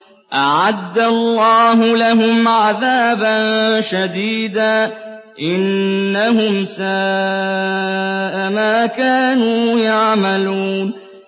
أَعَدَّ اللَّهُ لَهُمْ عَذَابًا شَدِيدًا ۖ إِنَّهُمْ سَاءَ مَا كَانُوا يَعْمَلُونَ